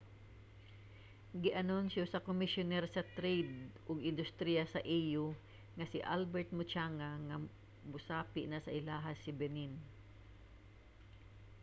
gianunsyo sa komisyuner sa trade ug industriya sa au nga si albert muchanga nga mosapi na sa ilaha si benin